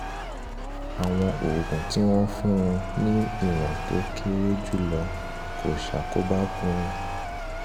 àwọn oògùn tí wọ́n fún un ní ìwọ̀n tó kéré jùlọ kò ṣàkóbá fún un